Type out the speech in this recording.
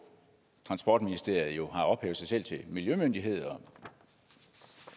transportministeriet har ophævet sig selv til miljømyndighed og